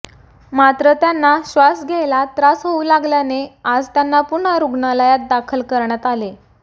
मात्र त्यांना श्वास घ्यायला त्रास होऊ लागल्याने आज त्यांना पुन्हा रुग्णालयात दाखल करण्यात आले